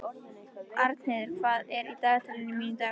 Arnheiður, hvað er í dagatalinu mínu í dag?